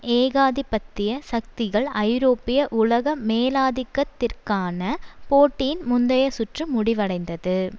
ஏகாதிபத்திய சக்திகள் ஐரோப்பிய உலக மேலாதிக்கத்திற்கான போட்டியின் முந்தைய சுற்று முடிவடைந்தது